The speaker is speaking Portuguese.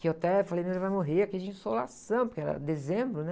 Que eu até falei, o nenê vai morrer aqui de insolação, porque era dezembro, né?